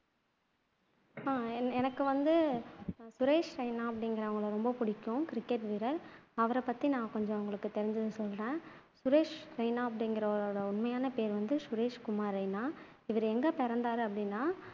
அஹ் எனக்கு வந்து சுரேஷ் ரெய்னா அப்படிங்குறவங்களை ரொம்ப புடிக்கும் கிரிக்கெட் வீரர் அவரை பத்தி நான் கொஞ்சம் உங்களுக்கு தெரிஞ்சதை சொல்றேன் சுரேஷ் ரெய்னா அப்படிங்குறவரோட உண்மையான பெயர் வந்து சுரேஷ் குமார் ரெய்னா இவரு எங்க பிறந்தாரு அப்படின்னா